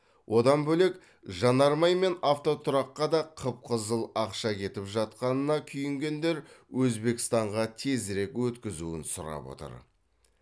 одан бөлек жанармай мен автотұраққа да қып қызыл ақша кетіп жатқанына күйінгендер өзбекстанға тезірек өткізуін сұрап отыр